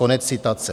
Konec citace.